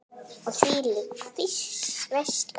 Og þvílík veisla!